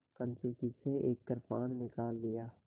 कंचुकी से एक कृपाण निकाल लिया